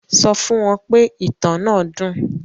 Sọ fún wọn pé ìtàn náà dùn